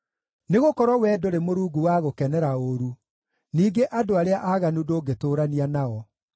Nĩgũkorwo Wee ndũrĩ Mũrungu wa gũkenera ũũru; ningĩ andũ arĩa aaganu ndũngĩtũũrania nao.